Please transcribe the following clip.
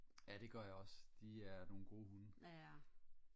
ja det gør jeg også de er nogle gode hunde